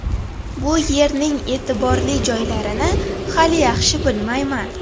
Bu yerning e’tiborli joylarini hali yaxshi bilmayman.